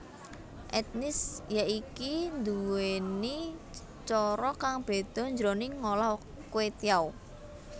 Etnis yaiki nduwèni cara kang beda jroning ngolah kwetiau